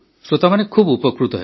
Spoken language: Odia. ଶ୍ରୋତାମାନେ ବହୁତ ଉପକୃତ ହେବେ